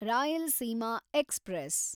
Rayalaseema express